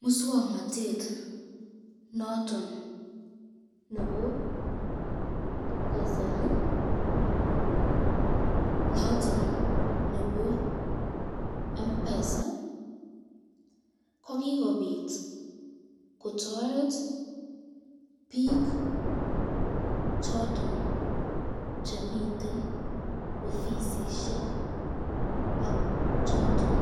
muswoknotet noton nebo kasari noton nebo mpesa, ko kikobit kotoret bik choton chemiten ofisisyet choton